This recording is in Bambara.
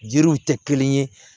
Yiriw tɛ kelen ye